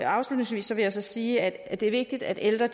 afslutningsvis vil jeg så sige at det er vigtigt at ældre